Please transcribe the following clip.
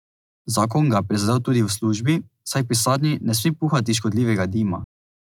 Zakon ga je prizadel tudi v službi, saj v pisarni ne sme puhati škodljivega dima.